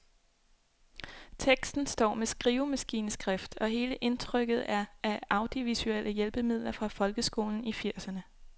Teksten står med skrivemaskineskrift, og hele indtrykket er af audiovisuelle hjælpemidler fra folkeskolen i firserne.